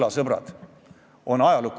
Jaanus Marrandi, palun!